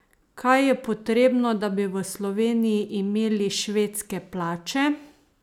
Kaj je potrebno, da bi v Sloveniji imeli švedske plače?